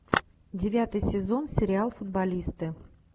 девятый сезон сериал футболисты